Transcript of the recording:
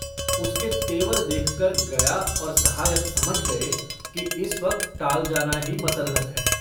उसके तेवर देखकर गया और सहायक समझ गए कि इस वक्त टाल जाना ही मसलहत है।